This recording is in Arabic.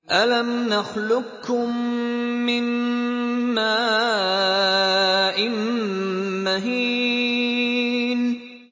أَلَمْ نَخْلُقكُّم مِّن مَّاءٍ مَّهِينٍ